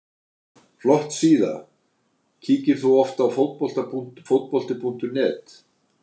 Flott síða Kíkir þú oft á Fótbolti.net?